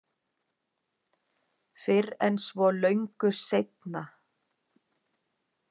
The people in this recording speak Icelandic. Fyrr en svo löngu seinna.